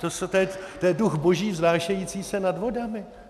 To je duch boží vznášející se nad vodami?